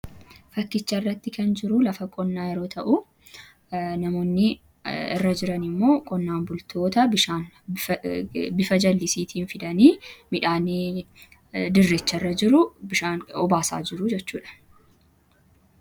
fakkicha irratti kan jiru lafa qonnaa yeroo ta'u namoonni irra jiranii immoo qonnaan bultoota bishaan bifa jallisiitiin fidanii midhaanii dirricha irra jiru bishaan obaasaa jiru jechuudha